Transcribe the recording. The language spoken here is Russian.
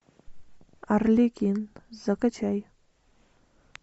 арлекин закачай